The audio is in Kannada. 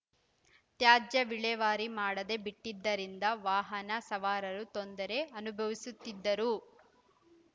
ತ್ಯಾಜ್ಯ ವಿಲೇವಾರಿ ಮಾಡದೇ ಬಿಟ್ಟಿದ್ದ ರಿಂದ ವಾಹನ ಸವಾರರು ತೊಂದರೆ ಅನುಭವಿಸುತ್ತಿದ್ದರು